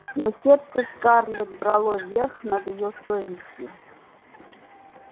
но сердце скарлетт брало верх над её совестью